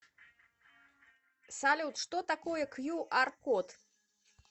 салют что такое кью ар код